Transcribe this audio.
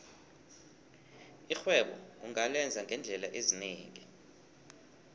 irhwebo ungalenza ngeendlela ezinengi